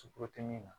Suku tɛ min na